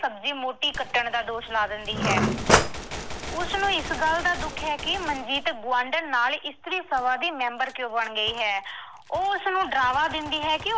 ਸਬਜ਼ੀ ਮੋਟੀ ਕੱਟਣ ਦਾ ਦੋਸ਼ ਲਾ ਦਿੰਦੀ ਹੈ। ਉਸਨੂੰ ਇਸ ਗੱਲ ਦਾ ਦੁੱਖ ਹੈ ਕਿ ਮਨਜੀਤ ਗੁਆਂਢਣ ਨਾਲ ਇਸਤਰੀ ਸਭਾ ਦੀ ਮੈਂਬਰ ਕਿਉਂ ਬਣ ਗਈ ਹੈ। ਉਹ ਉਸਨੂੰ ਡਰਾਵਾ ਦਿੰਦੀ ਹੈ ਕਿ